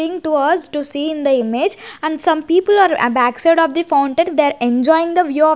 think towards to see in the image and some people are backside of the fountain they are enjoying the view of --